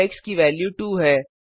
अब एक्स की वेल्यू 2 है